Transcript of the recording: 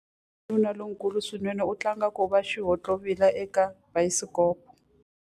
Wanuna lonkulu swinene u tlanga ku va xihontlovila eka bayisikopo.